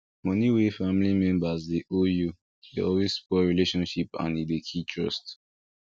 money wey family members dey owe you dey always spoil relationship and e dey kill trust